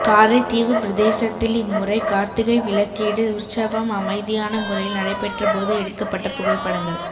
காரைதீவுப்பிரதேசத்தில் இம்முறை கார்த்திகைவிளக்கீடு உற்சவம் அமைதியான முறையில் நடைபெற்றபோது எடுக்கப்பட்ட புகைப்படங்கள்